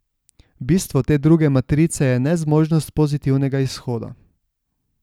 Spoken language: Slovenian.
Bistvo te druge matrice je nezmožnost pozitivnega izhoda.